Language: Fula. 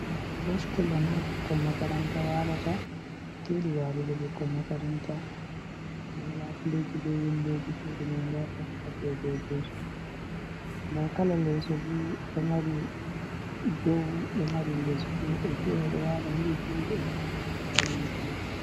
Hostel on ha ɓikkon makaranta walata, cuɗi walugo ɓikkon makaranta, nda labuleeji be windoji cuɗi mai nda fanka je dow, nda kala leeso fu ɗo mari dow ɗo mari les bo woɓɓe fere ɗo wala hedi ni woɓɓe ɗo wala hedi yeeso.